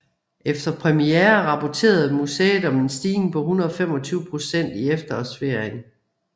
Efter premiere rapporterede museet om en stigning på 125 procent i efterårsferien